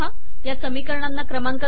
या समीकरणांना क्रमांक नाहीत